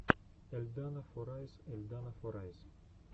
эльдана форайс эльдана форайс